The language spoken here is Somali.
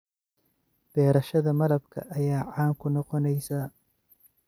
Beerashada malabka ayaa caan ku noqonaysa.